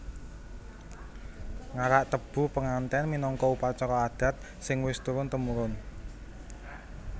Ngarak tebu penganten minangka upacara adat sing wis turun temurun